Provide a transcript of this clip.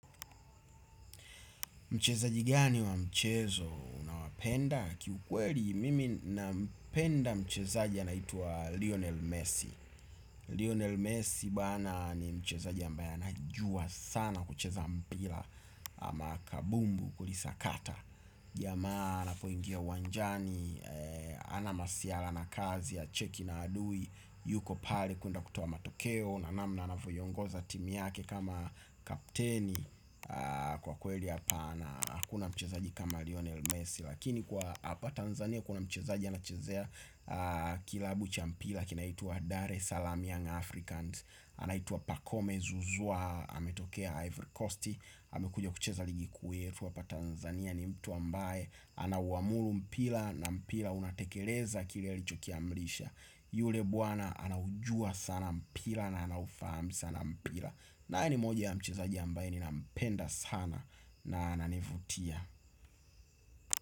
Mchezaji gani wa mchezo? Unawapenda? Ki ukweri mimi napenda mchezaji anaitwa Lionel Messi. Lionel Messi bana ni mchezaji ambaya anajua sana kucheza mpira ama kabumbu kulisakata. Jamaa anapoingia uwanjani hana masiara na kazi hacheki na adui. Yuko pale kwenda kutoa matokeo na namna anavyoongoza timu yake kama kapteni. Kwa kweli hapana hakuna mchezaji kama Lionel Messi. Lakini kwa hapa Tanzania kuna mchezaji anachezea Kilabu Cha mpira kinaitwa Dar Salama young Africans. Anaituwa Pakome Zuzua ametokea Ivory Coast amekuja kucheza ligi kuu yetu hapa Tanzania ni mtu ambaye anauamuru mpira na mpira unatekeleza kile alichokiamrisha. Yule bwana anaujua sana mpira na anafahamu sana mpira. Na hali moja ya mchezaji ambaye ninampenda sana na ananivutia.